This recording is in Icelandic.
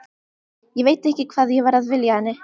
Ég veit ekki hvað ég var að vilja henni.